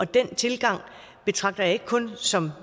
den tilgang betragter jeg ikke kun som